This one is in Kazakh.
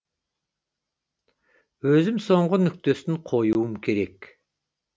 өзім соңғы нүктесін қоюым керек